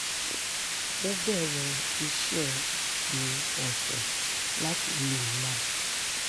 ó bẹ̀rẹ̀ iṣẹ́ òpin ọ̀sẹ̀ láti lè máa